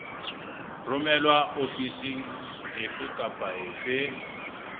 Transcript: romelwa ofising efe kapa efe